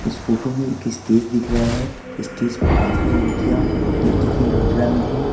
इस फोटो में एक स्टेज दिख रहा है स्टेज पे काफी युतियां नृत्य की मुद्रा में है।